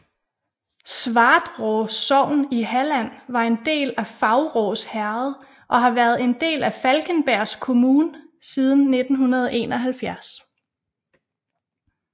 Svartrå sogn i Halland var en del af Faurås herred og har været en del af Falkenbergs kommun siden 1971